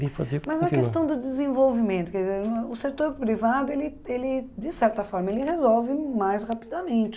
Mas a questão do desenvolvimento, quer dizer, o setor privado, ele ele de certa forma, ele resolve mais rapidamente.